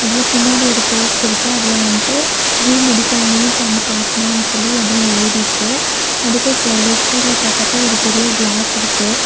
இதுல பின்னாடி ஒரு போஸ்ட் இருக்கு அதுல வந்துட்டு ஜி மெடிக்கல் நீட் அண்ட் பாட்னான்னு சொல்லி எதோ எழுதிருக்கு அதுக்கு சே லெஃப்ட் சைடுல பாத்தாக்க ஒரு பெரிய கிளாஸ் இருக்கு.